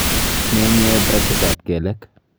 Menyee brashitab kelek.